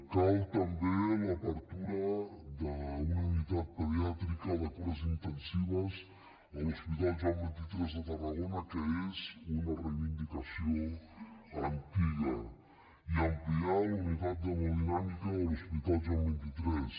cal també l’obertura d’una unitat pediàtrica de cures intensives a l’hospital joan xxiii de tarragona que és una reivindicació antiga i ampliar la unitat d’hemodinàmica del l’hospital joan xxiii